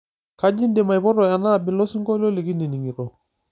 kaji ndim aipoto enaabila osingolio likinining'ito